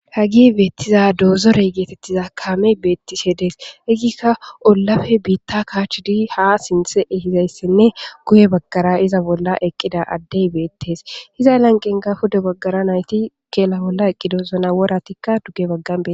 Ha giy beettiza doozorey geetettiza kaame beettise dees izika eggikka ollafe biitta kaach di haa sinthe ehizayssenne guye bagkara iza bolla eqqida addey beettes iza lanqenga huda baggara nayti keela bolla eqqidosona woratikka dugge baggan bee